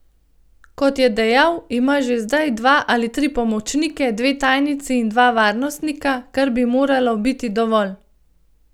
Kot je dejal, ima že zdaj dva ali tri pomočnike, dve tajnici in dva varnostnika, kar bi moralo biti dovolj.